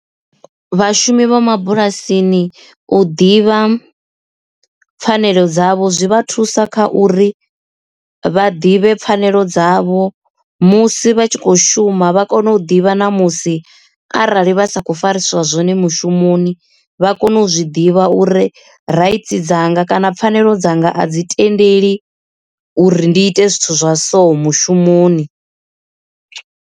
vhashumi vha mabulasini u ḓivha pfhanelo dzavho zwi vha thusa kha uri vha ḓivhe pfhanelo dzavho musi vha tshi kho shuma vha kone u ḓivha na musi arali vha sa kho farisiwa zwone mushumoni vha kone u zwi ḓivha uri rights dzanga kana pfhanelo dzanga a dzi tendeli uri ndi ite zwithu zwa so mushumoni.